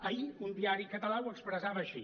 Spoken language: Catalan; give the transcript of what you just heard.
ahir un diari català ho expressava així